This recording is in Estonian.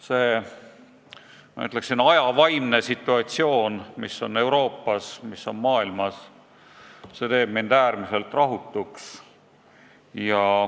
See, ma ütleksin, aja vaimust tulenev situatsioon Euroopas ja kogu maailmas teeb mind äärmiselt rahutuks.